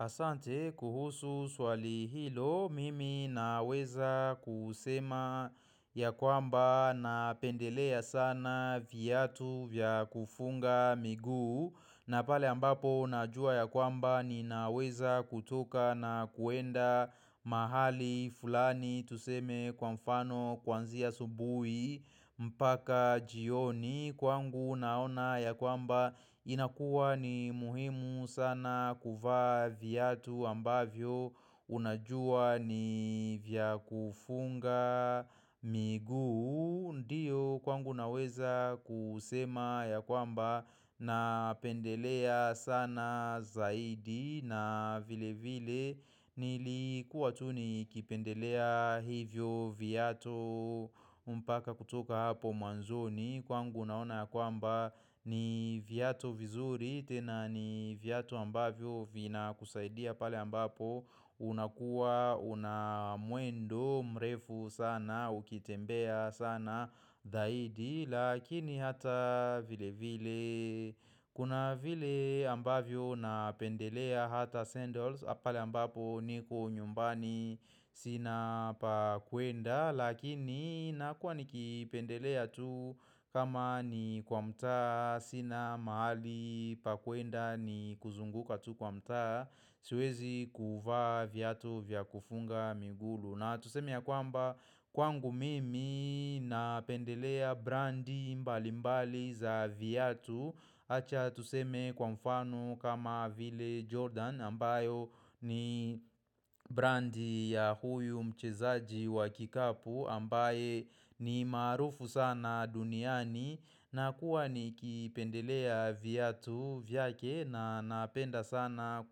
Asante kuhusu swali hilo mimi naweza kusema ya kwamba napendelea sana viatu vya kufunga miguu na pale ambapo najua ya kwamba ninaweza kutoka na kuenda mahali fulani tuseme kwa mfano kwanzia asubuhi mpaka jioni Kwangu naona ya kwamba inakuwa ni muhimu sana kuvaa viatu ambavyo unajua ni vya kufunga miguu Ndiyo kwangu naweza kusema ya kwamba napendelea sana zaidi na vile vile nilikuwa tu nikipendelea hivyo viatu mpaka kutoka hapo mwanzoni Kwangu unaona kwamba ni viatu vizuri tena ni viatu ambavyo vinakusaidia pale ambapo unakuwa, una mwendo, mrefu sana, ukitembea sana zaidi, lakini hata vile vile Kuna vile ambavyo napendelea hata sandals pale ambapo niko nyumbani sina pa kuenda Lakini nakua nikipendelea tu kama ni kwa mtaa sina mahali pa kwenda ni kuzunguka tu kwa mtaa Siwezi kuvaa viatu vya kufunga miguu na tuseme ya kwamba kwangu mimi napendelea brandi mbalimbali za viatu acha tuseme kwa mfano kama Ville Jordan ambayo ni brandi ya huyu mchezaji wa kikapu ambaye ni maarufu sana duniani na kuwa nikipendelea viatu vyake na napenda sana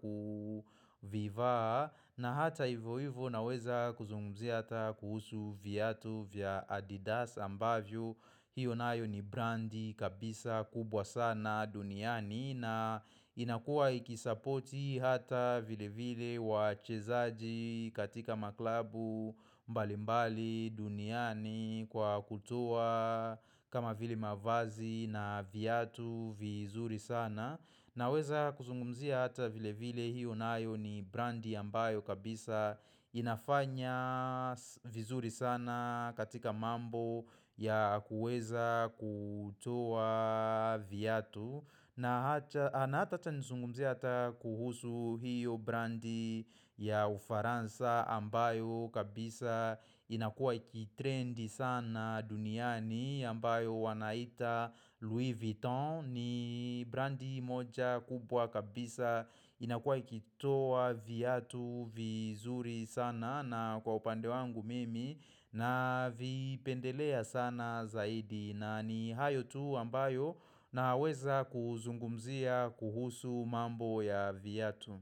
kuvivaa na hata hivyo hivyo naweza kuzungumzia hata kuhusu viatu vya Adidas ambavyo hiyo nayo ni brandi kabisa kubwa sana. Duniani na inakua ikisapoti hata vile vile wachezaji katika maklabu mbalimbali duniani kwa kutoa kama vile mavazi na viatu vizuri sana naweza kuzungumzia hata vile vile hio nayo ni brandi ambayo kabisa inafanya vizuri sana katika mambo ya kuweza kutoa viyatu na hata acha nizungumzie hata kuhusu hiyo brandi ya ufaransa ambayo kabisa inakua ikitrendi sana duniani ambayo wanaita Louis Vuitton ni brandi moja kubwa kabisa inakua ikitoa viatu vizuri sana na kwa upande wangu mimi navipendelea sana zaidi. Na ni hayo tu ambayo naweza kuzungumzia kuhusu mambo ya viatu.